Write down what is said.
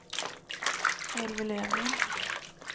Elvy Löfgren